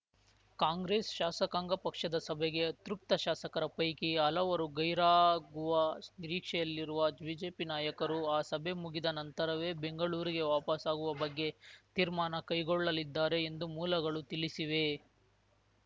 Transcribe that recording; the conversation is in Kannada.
ಕಾಂಗ್ರೆಸ್‌ ಶಾಸಕಾಂಗ ಪಕ್ಷದ ಸಭೆಗೆ ಅತೃಪ್ತ ಶಾಸಕರ ಪೈಕಿ ಹಲವರು ಗೈರಾಗುವ ನಿರೀಕ್ಷೆಯಲ್ಲಿರುವ ಬಿಜೆಪಿ ನಾಯಕರು ಆ ಸಭೆ ಮುಗಿದ ನಂತರವೇ ಬೆಂಗಳೂರಿಗೆ ವಾಪಸಾಗುವ ಬಗ್ಗೆ ತೀರ್ಮಾನ ಕೈಗೊಳ್ಳಲಿದ್ದಾರೆ ಎಂದು ಮೂಲಗಳು ತಿಳಿಸಿವೆ